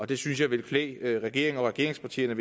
det synes jeg ville klæde regeringen og regeringspartierne